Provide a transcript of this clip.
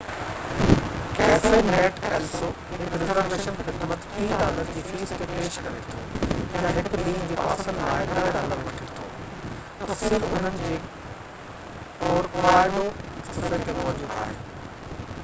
cafenet el so هڪ reservation خدمت 30 dollar جي فيس تي پيش ڪري ٿو يا هڪ ڏينهن جي پاسن لاءِ 10 ڊالر وٺي ٿو تفصيل انهن جي ڪورڪواڊو صفحي تي موجود آهن